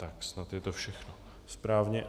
Tak, snad je to všechno správně.